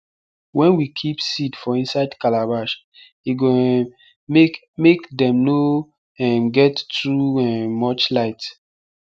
wen we keep seed for inside calabash e go um make make dem nor um get too um much light